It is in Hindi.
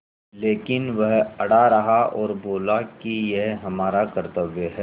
लेकिन वह अड़ा रहा और बोला कि यह हमारा कर्त्तव्य है